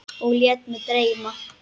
Og lét mig dreyma.